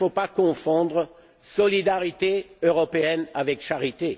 Il ne faut pas confondre solidarité européenne avec charité.